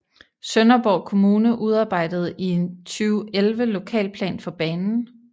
Sønderborg Kommune udarbejdede i 2011 lokalplan for banen